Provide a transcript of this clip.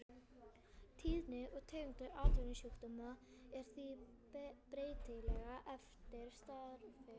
Tíðni og tegund atvinnusjúkdóma er því breytileg eftir starfi.